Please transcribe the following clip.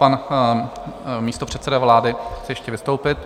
Pan místopředseda vlády chce ještě vystoupit.